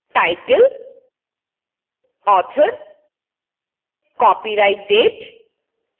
title: author: copyright date: